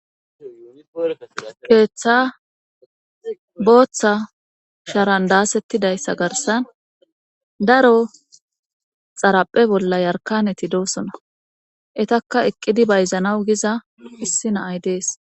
keeththa booththa sharandaasettidayssa garsan daro xaraphe bolla yarkaneti doosona etakka eqqidi bayzanaw giza issi naay dees